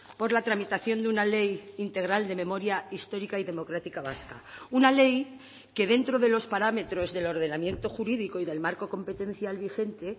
por la tramitación de una ley integral de memoria histórica y democrática vasca una ley que dentro de los parámetros del ordenamiento jurídico y del marco competencial vigente